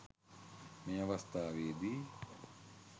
මේ අවස්ථාවේ දී